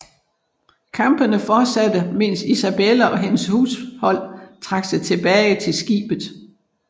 Kampene fortsatte mens Isabella og hendes hushold trak sig tilbage til skibet